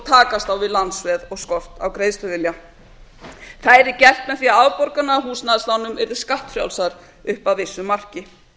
takast á við lánsveð og skort á greiðsluvilja það yrði gert með því að afborganir yrðu frjálsar upp að vissu marki